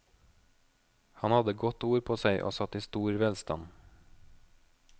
Han hadde godt ord på seg og satt i stor velstand.